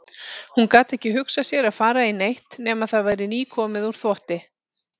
Hún gat ekki hugsað sér að fara í neitt nema það væri nýkomið úr þvotti.